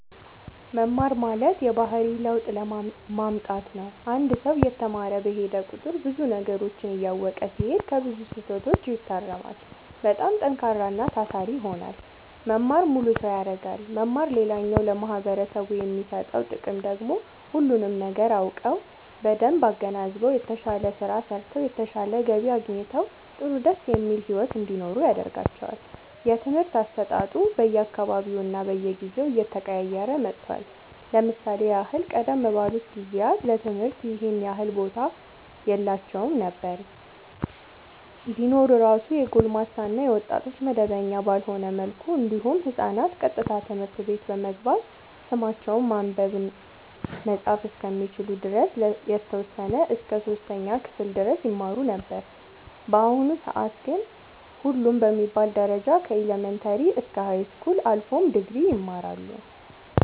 መማር ማለት የባህሪ ለውጥ ማምጣት ነው አንድ ሰው እየተማረ በሄደ ቁጥር ብዙ ነገሮችን እያወቀ ሲሄድ ከብዙ ስህተቶች ይታረማል በጣም ጠንካራና ታታሪ ይሆናል መማር ሙሉ ሰው ያደርጋል መማር ሌላኛው ለማህበረሰቡ የሚሰጠው ጥቅም ደግሞ ሁሉንም ነገር አውቀው በደንብ አገናዝበው የተሻለ ስራ ሰርተው የተሻለ ገቢ አግኝተው ጥሩ ደስ የሚል ሒወት እንዲኖሩ ያደርጋቸዋል። የትምህርት አሰጣጡ በየ አካባቢውና በየጊዜው እየተቀያየረ መጥቷል ለምሳሌ ያህል ቀደም ባሉት ጊዜያት ለትምህርት ይኸን ያህል ቦታ የላቸውም ነበር ቢኖር እራሱ የጎልማሳ እና የወጣቶች መደበኛ ባልሆነ መልኩ እንዲሁም ህፃናት ቀጥታ ትምህርት ቤት በመግባት ስማቸውን ማንበብ መፃፍ እስከሚችሉ ድረስ የተወሰነ እስከ 3ኛ ክፍል ድረስ ይማሩ ነበር በአሁኑ ሰአት ግን ሁሉም በሚባል ደረጃ ከኢለመንታሪ እስከ ሀይስኩል አልፎም ድግሪ ይማራሉ